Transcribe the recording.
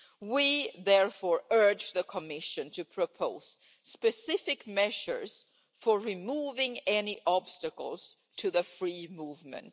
We therefore urge the Commission to propose specific measures for removing any obstacles to free movement.